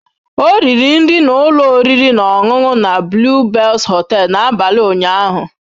Ọ riri nri na ụlọ oriri na ọṅụṅụ na The Blue Bells hotel n'abalị ụnyaahụ.